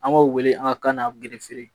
An b'o wele an ka kan na gerefe